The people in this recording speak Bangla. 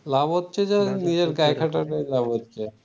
লাভ হচ্ছে যে নিজের গায়ে কাঠাটাই লাভ হচ্ছে